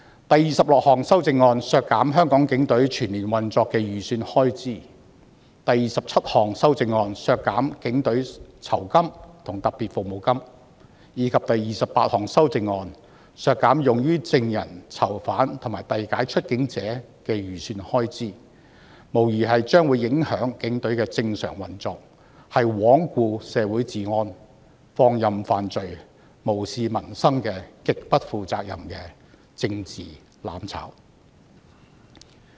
第26項修正案削減香港警隊全年運作的預算開支，第27項修正案削減警隊酬金和特別服務金，以及第28項修正案削減用於證人、囚犯和遞解出境者的預算開支，無疑會影響警隊的正常運作，是罔顧社會治安、放任犯罪及無視民生極不負責任的政治"攬炒"。